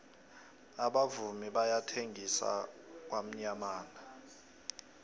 abavumi bayathengisa kwamyamana